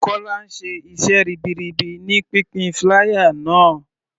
Kola ń ṣe iṣẹ́ ribiribi ní pínpín flier náà.